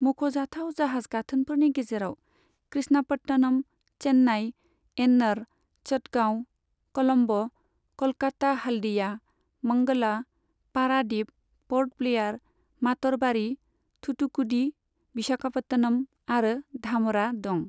मख'जाथाव जाहाज गाथोनफोरनि गेजेराव कृष्णापट्टनम, चेन्नाइ, एन्नर, चटगांव, कलम्ब', कलकाता हल्दिया, मंगला, पारादिप, पर्ट ब्लेयार, मातरबारि, थुथुकुडि, विशाखापत्तनम आरो धामरा दं।